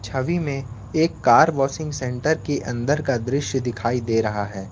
छवि में एक car washing centre की अंदर का दृश्य दिखाई दे रहा है।